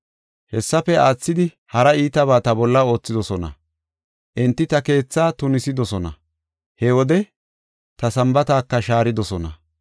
Hessafe aathidi hara iitabaa ta bolla oothidosona; enti ta keethaa tunisidosona; he wode ta Sambaataka shaaridosona.